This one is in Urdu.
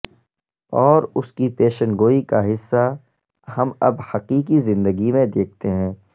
اور اس کی پیشن گوئی کا حصہ ہم اب حقیقی زندگی میں دیکھتے ہیں